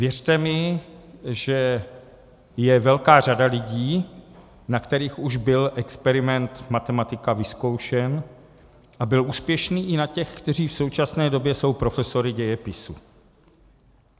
Věřte mi, že je velká řada lidí, na kterých už byl experiment matematika vyzkoušen, a byl úspěšný i na těch, kteří v současné době jsou profesory dějepisu.